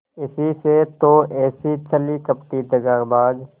इसी से तो ऐसी छली कपटी दगाबाज